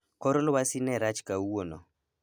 Kor lwasi ne rach kawuono